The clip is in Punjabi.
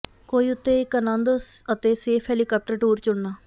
ਕੌਈ ਉੱਤੇ ਇੱਕ ਅਨੰਦ ਅਤੇ ਸੇਫ ਹੈਲੀਕਾਪਟਰ ਟੂਰ ਚੁਣਨਾ